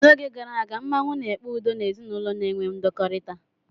N'oge gara aga, mmanwụ na-ekpe udo n'ezinụlọ na-enwe ndọkọrita.